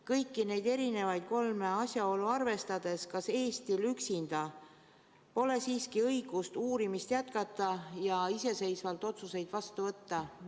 Kõiki neid kolme asjaolu arvestades: kas Eestil üksinda pole siiski õigust uurimist jätkata ja iseseisvalt otsuseid vastu võtta?